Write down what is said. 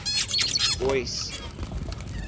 boyce